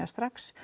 strax